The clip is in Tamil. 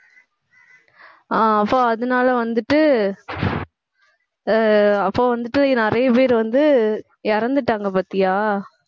அஹ் அப்ப அதனால வந்துட்டு ஆஹ் அப்போ வந்துட்டு நிறைய பேர் வந்து இறந்துட்டாங்க பாத்தியா